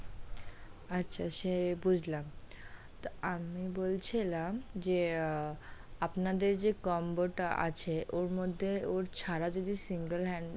আচ্ছা, সে বুঝলাম তা আমি বলছিলাম যে আআ আপনাদের যে combo টা আছে ওর মধ্যে ওর ছাড়া যদি single.